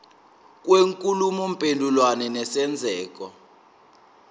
kwenkulumo mpendulwano nesenzeko